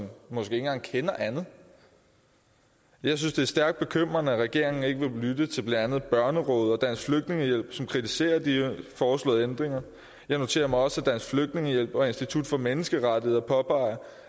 måske ikke engang kender andet jeg synes det er stærkt bekymrende at regeringen ikke vil lytte til blandt andet børnerådet og dansk flygtningehjælp som kritiserer de foreslåede ændringer jeg noterer mig også at dansk flygtningehjælp og institut for menneskerettigheder påpeger